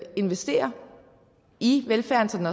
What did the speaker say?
investere i velfærden